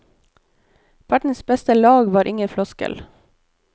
Verdens beste lag var ingen floskel.